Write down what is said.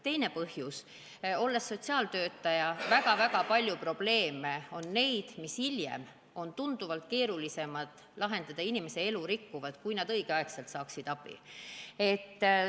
Teine põhjus: olles sotsiaaltöötaja, tean, et väga-väga paljud probleemid on sellised, mida on hiljem lahendada tunduvalt keerulisem – need rikuvad inimese elu – kui õigel ajal abi andmise korral.